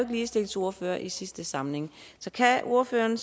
ligestillingsordfører i sidste samling så kan ordføreren